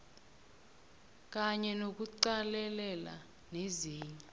kanye nokuqalelela nezinye